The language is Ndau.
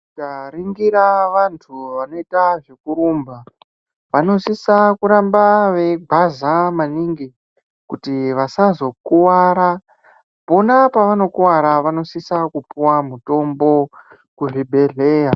Tikaningira vantu vanoita zvekurumba vanosisa kuramba veigwaza maningi Kuti vasazokuwara pona pavanokuwara vanosisa kupuwa mutombo kuzvibhedhlera.